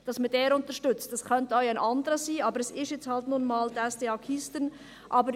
Es könnte auch ein anderer sein, aber es ist halt nun einmal die SDA/Keystone.